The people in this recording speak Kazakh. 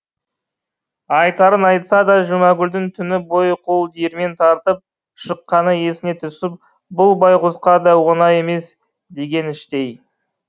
айтарын айтса да жұмагүлдің түні бойы қол диірмен тартып шыққаны есіне түсіп бұл байғұсқа да оңай емес деген іштей